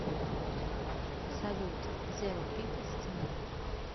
салют зеро пипл стена